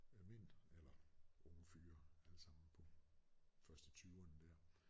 Af mænd eller unge fyre alle sammen på først i tyverne der